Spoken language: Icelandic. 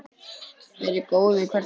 Verið góð hvert við annað